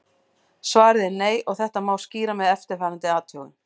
Svarið er nei og þetta má skýra með eftirfarandi athugun.